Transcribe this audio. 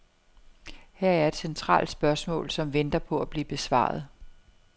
Her er et centralt spørgsmål, som venter på at blive besvaret.